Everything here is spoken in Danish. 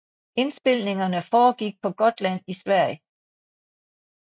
Indspilningerne foregik på Gotland i Sverige